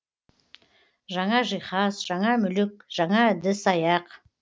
жаңа жиһаз жаңа мүлік жаңа ыдыс аяқ